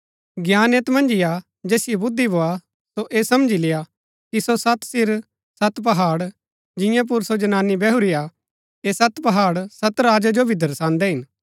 ज्ञान ऐत मन्ज ही हा जैसिओ बुद्धि भोआ सो ऐह समझी लेय्आ कि सो सत सिर सत पहाड़ जिंआं पुर सो जनानी बैहुरी हा ऐह सत पहाड़ सत राजा जो भी दर्शान्दै हिन